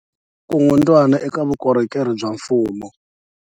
Ku herisa vukungundwani eka vukorhokeri bya mfumo